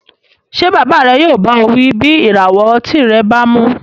Ṣé bàbá rẹ yóò bá ọ wí bí ìràwọ̀ ọtí rẹ bá mu